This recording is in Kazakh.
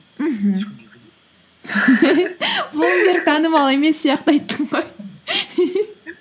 мхм блумберг танымалы емес сияқты айттың ғой